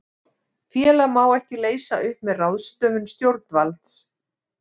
Félag má ekki leysa upp með ráðstöfun stjórnvalds.